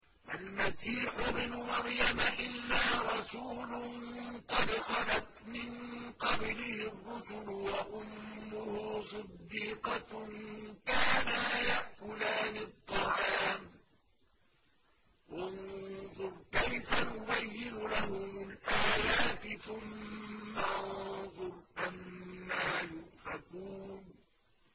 مَّا الْمَسِيحُ ابْنُ مَرْيَمَ إِلَّا رَسُولٌ قَدْ خَلَتْ مِن قَبْلِهِ الرُّسُلُ وَأُمُّهُ صِدِّيقَةٌ ۖ كَانَا يَأْكُلَانِ الطَّعَامَ ۗ انظُرْ كَيْفَ نُبَيِّنُ لَهُمُ الْآيَاتِ ثُمَّ انظُرْ أَنَّىٰ يُؤْفَكُونَ